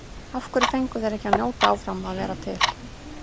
Af hverju fengu þeir ekki að njóta áfram að vera til?